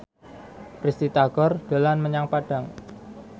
Risty Tagor dolan menyang Padang